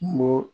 Kungo